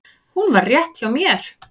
Hún var rétt hjá mér.